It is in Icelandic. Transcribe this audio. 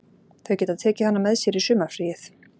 Þau geta tekið hana með sér í sumarfríið.